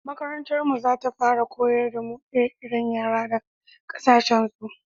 makarantar mu za ta fara koyar da mu ire-iren yare da ƙasashen su